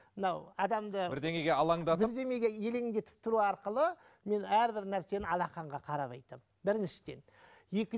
мынау адамды бірдеңеге алаңдатып бірдемеге елеңдетіп тұру арқылы мен әрбір нәрсені алақанға қарап айтамын біріншіден